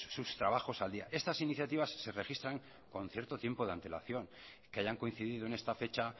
sus trabajos al día estas iniciativas se registran con cierto tiempo de antelación que hayan coincidido en esta fecha